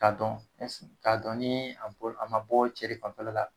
K'a dɔn ɛs k'a dɔn nii a bɔr a ma bɔɔ cɛ de fanfɛla la